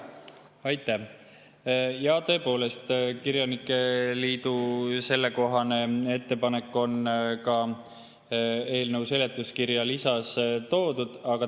Jaa, tõepoolest, kirjanike liidu sellekohane ettepanek on ka eelnõu seletuskirja lisas toodud.